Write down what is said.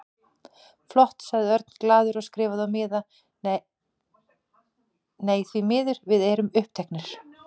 Flott sagði Örn glaður og skrifaði á miða: Nei, því miður, við erum uppteknir